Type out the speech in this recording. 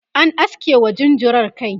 an aske wa jinjirar kai